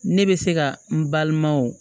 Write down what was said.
Ne bɛ se ka n balima wo